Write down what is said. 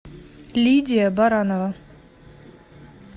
лидия баранова